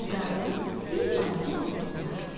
Bu qarının bir balaca nəvəsi vardı.